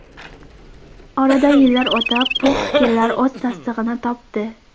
Oradan yillar o‘tib, bu fikrlar o‘z tasdig‘ini topdi.